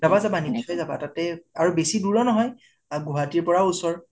যাবা যাবা নিশ্চয় যাবা তাতে । আৰু বেচি দুৰো নহয়, গুৱাহাটীৰ পৰা ও ওচৰ